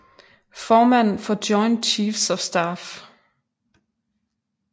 Formand for Joint Chiefs of Staff